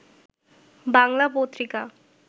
Bangla Patrika